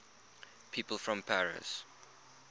people from paris